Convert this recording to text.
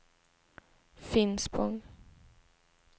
Finspång